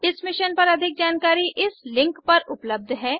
इस मिशन पर अधिक जानकारी इस लिंक पर उपलब्ध है